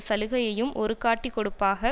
சலுகையையும் ஒரு காட்டிக் கொடுப்பாக